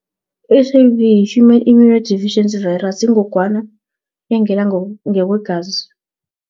I-H_I_V yi-Human immunodeficiency virus, ingogwana engena ngekwegazi.